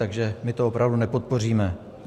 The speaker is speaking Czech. Takže my to opravdu nepodpoříme.